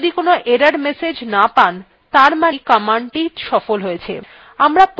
আপনি যদি কোনো error message না পান ত়ার মানেই কমান্ডটি সফল হয়েছে